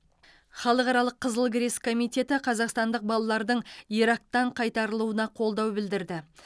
халықаралық қызыл крест комитеті қазақстандық балалардың ирактан қайтарылуына қолдау білдірді